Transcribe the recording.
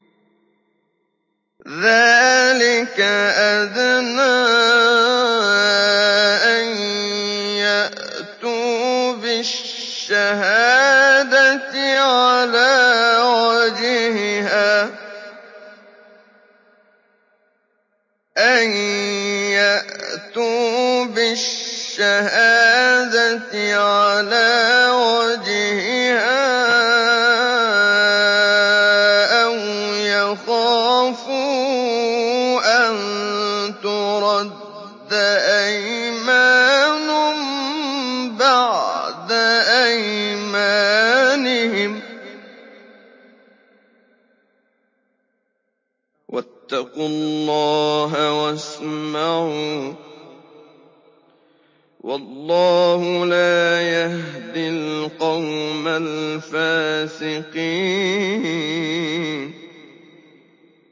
ذَٰلِكَ أَدْنَىٰ أَن يَأْتُوا بِالشَّهَادَةِ عَلَىٰ وَجْهِهَا أَوْ يَخَافُوا أَن تُرَدَّ أَيْمَانٌ بَعْدَ أَيْمَانِهِمْ ۗ وَاتَّقُوا اللَّهَ وَاسْمَعُوا ۗ وَاللَّهُ لَا يَهْدِي الْقَوْمَ الْفَاسِقِينَ